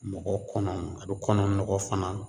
Mɔgɔ kɔnɔ m a be kɔnɔ nɔgɔ fana